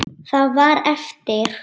Það var eftir.